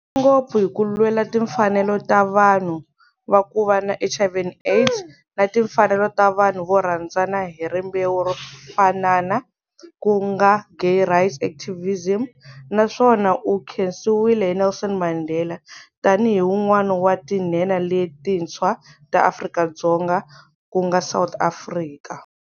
Ngopfu hi ku lwela timfanelo ta vanhu va ku va na HIV and AIDS na timfanelo ta vanhu vo rhandzana hi rimbewu ro fanana ku nga gay-rights activism na swona u khensiwile hi Nelson Mandela tani hi wun'wana wa tinhenha letintshwa ta Afrika-Dzonga ku nga South Africa.